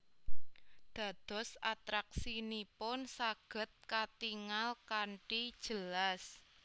Dados atraksinipun saged katingal kanthi jelas